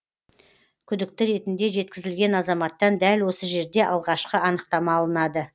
күдікті ретінде жеткізілген азаматтан дәл осы жерде алғашқы анықтама алынады